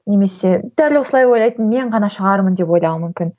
немесе дәл осылай ойлайтын мен ғана шығармын деп ойлауы мүмкін